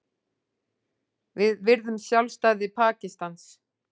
Við virðum sjálfstæði Pakistans